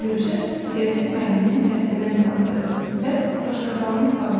Rövşən riyaziyyat müəllimini səsindən tanıdı və qaşqabağını salladı.